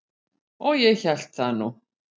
Og ég hélt það nú.